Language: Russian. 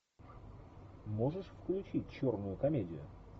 можешь включить черную комедию